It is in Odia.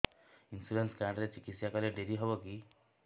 ଇନ୍ସୁରାନ୍ସ କାର୍ଡ ରେ ଚିକିତ୍ସା କଲେ ଡେରି ହବକି